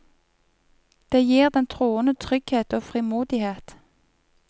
Det gir den troende trygghet og frimodighet.